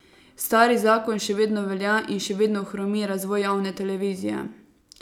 Stari zakon še vedno velja in še vedno hromi razvoj javne televizije.